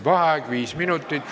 Vaheaeg viis minutit.